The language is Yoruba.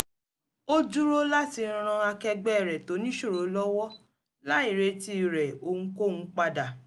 ó dúró láti ran akẹgbẹ́ rẹ̀ tó níṣòro lọ́wọ́ láì retí rẹ̀ ohunkóhun padà